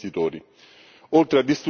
oltre a distruggere la fiducia